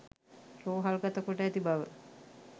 රෝහල් ගත කොට ඇති බව